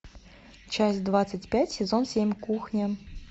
часть двадцать пять сезон семь кухня